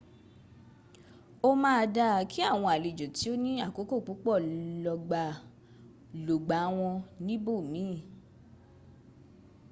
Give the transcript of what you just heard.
ó ma dáa kí àwọn àlejò tí o ní àkókò púpọ̀ lògbà wọ́n níbò miin